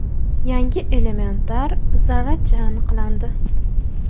Yangi elementar zarracha aniqlandi.